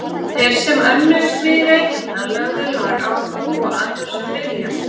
Þeir sem önnuðust mig í Reykjadal höfðu lag á að hlúa að þessum vilja mínum.